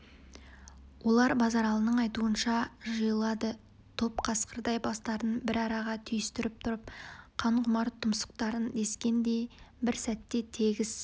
олар базаралының айтуынша жиылады топ қасқырдай бастарын бір араға түйістіріп тұрып қан құмар тұмсықтарын дескендей бір сәтте тегіс